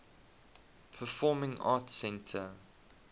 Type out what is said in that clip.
performing arts center